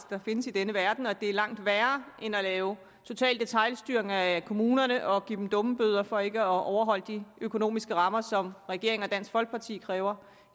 der findes i denne verden og at det er langt værre end at lave total detailstyring af kommunerne og give dem dummebøder for ikke at overholde de økonomiske rammer som regeringen og dansk folkeparti kræver